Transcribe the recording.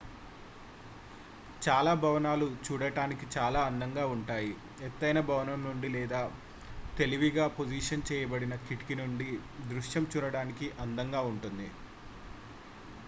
చాలా భవనాలు చూడటానికి చాలా అందంగా ఉంటాయి ఎత్తైన భవనం నుండి లేదా తెలివిగా-పొజిషన్ చేయబడిన కిటికీ నుండి దృశ్యం చూడటానికి అందంగా ఉంటుంది